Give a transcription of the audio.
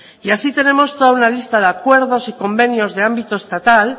y así tenemos toda una lista de acuerdos y convenios de ámbito estatal